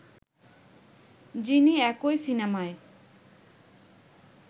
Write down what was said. যিনি একই সিনেমায়